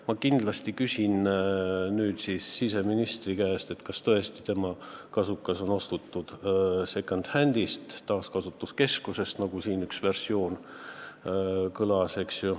Ma kindlasti küsin siseministri käest, kas tõesti on tema kasukas ostetud second-hand'ist, taaskasutuskeskusest, nagu siin üks versioon kõlas.